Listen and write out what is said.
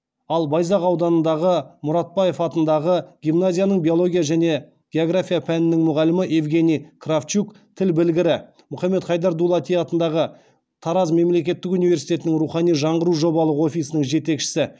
ал байзақ ауданындағы мұратбаев атындағы гимназияның биология және география пәнінің мұғалімі евгений кравчук тіл білгірі мұхаммед хайдар дулати атындағы тараз мемлекеттік университетінің рухани жаңғыру жобалық офисінің жетекшісі